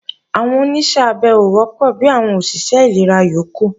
Àwọn Oníṣẹ́ abẹ ò wọ́pọ̀ bi àwọn òṣìṣẹ́ ìlera yókù